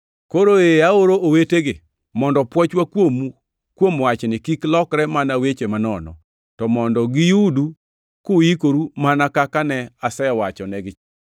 Koro ee aoro owetegi mondo pwochwa kuomu kuom wachni kik lokre mana weche manono; to mondo giyudu kuikoru mana kaka ne asewachonegi.